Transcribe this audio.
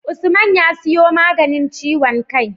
Usman ya siyo maganin ciwon kai